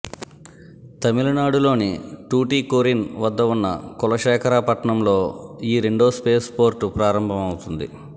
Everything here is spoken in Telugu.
తమిళనాడు లోని టూటికోరిన్ వద్ద ఉన్న కులశేఖర పట్నంలో ఈ రెండో స్పేస్ పోర్ట్ ప్రారంభమౌతుంది